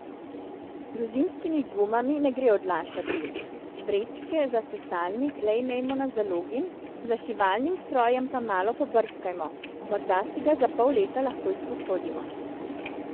Z zimskimi gumami ne gre odlašati, vrečke za sesalnik le imejmo na zalogi, za šivalnim strojem pa malo pobrskajmo, morda si ga za pol leta lahko izposodimo.